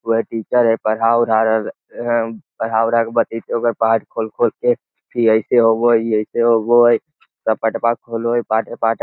वेह टीचर हैं पढ़ा उढ़ा रहल हैं | पढ़ा उढ़ा के बताइते ओकर पाठ खोल-खोल के की इ अइसे होव हई इ अइसे होव हई | सब पठवा खोलो है पाठे-पाठे --